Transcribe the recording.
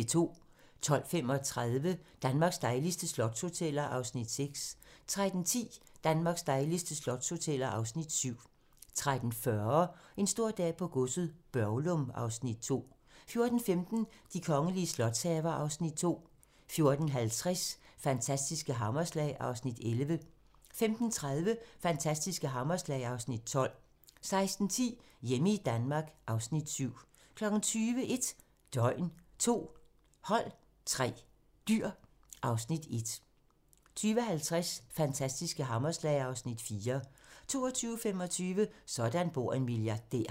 12:35: Danmarks dejligste slotshoteller (Afs. 6) 13:10: Danmarks dejligste slotshoteller (Afs. 7) 13:40: En stor dag på godset - Børglum (Afs. 2) 14:15: De kongelige slotshaver (Afs. 2) 14:50: Fantastiske hammerslag (Afs. 11) 15:30: Fantastiske hammerslag (Afs. 12) 16:10: Hjemme i Danmark (Afs. 7) 20:00: 1 døgn, 2 hold, 3 dyr (Afs. 1) 20:50: Fantastiske hammerslag (Afs. 4) 22:25: Sådan bor en milliardær